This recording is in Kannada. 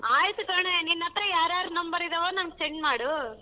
ಆಯ್ತ್ ಕಣೆ ನಿನ್ನತ್ರ ಯಾರ್ ಯಾರ್ number ಇದಾವೋ ನನಗ್ send ಮಾಡು.